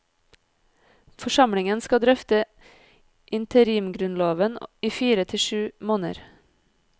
Forsamlingen skal drøfte interimgrunnloven i fire til syv måneder.